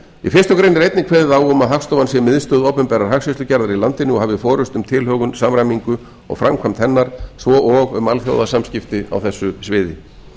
í fyrstu grein er einnig kveðið á um að hagstofan sé miðstöð opinberrar hagskýrslugerðar í landinu og hafi forustu um tilhögun samræmingu og framkvæmd hennar svo og um alþjóðasamskipti á þessu sviði